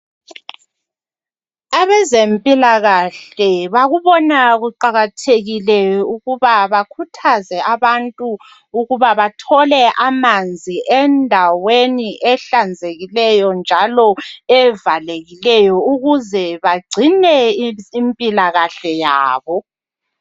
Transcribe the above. Abezempilakahle bakubona kuqakathekile ukuba bakhuthaze abantu ukuba bathole amanzi endaweni ehlanzekileyo njalo evalekileyo ukuze bagcine impilakahle yabo.